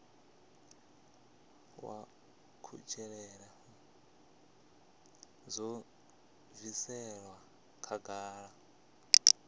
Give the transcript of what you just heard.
wa kutshilele zwo bviselwa khagala